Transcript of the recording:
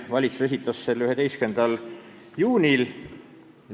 Valitsus esitas selle 11. juunil.